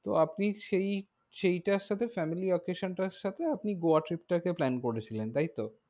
তো আপনি সেই সেইটার সাথে family occasion টার সাথে আপনি গোয়া trip টাকে plan করেছিলেন, তাইতো?